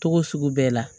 Togo sugu bɛɛ la